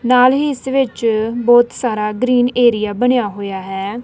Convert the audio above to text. ਨਾਲ ਹੀ ਇਸ ਵਿੱਚ ਬਹੁਤ ਸਾਰਾ ਗਰੀਨ ਏਰੀਆ ਬਣਿਆ ਹੋਇਆ ਹੈ।